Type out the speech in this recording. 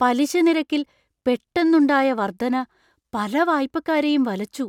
പലിശ നിരക്കിൽ പെട്ടെന്നുണ്ടായ വർധന പല വായ്പക്കാരെയും വലച്ചു.